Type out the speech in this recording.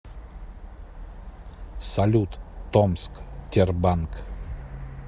салют томск тербанк